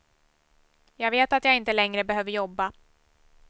Jag vet att jag inte längre behöver jobba.